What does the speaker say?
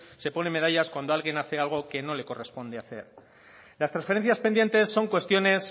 se ponen medallas cuando alguien hace algo que no le corresponde hacer las transferencias pendientes son cuestiones